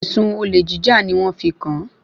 Èsùn olèjíjà ni wọ́n fi kàn-án.